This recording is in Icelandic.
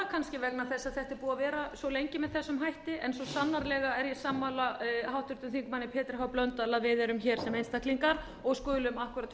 búið að vera svo lengi með þessum hætti en svo sannarlega er ég sammála háttvirtum þingmanni pétri h blöndal að við erum hér sem einstaklingar og skulum akkúrat